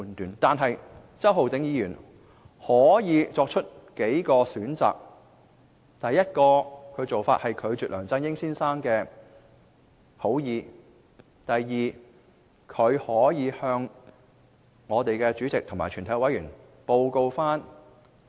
然而，周浩鼎議員當時可作出數個選擇：第一，拒絕梁振英先生的好意；第二，向專責委員會主席及全體委員報告此事。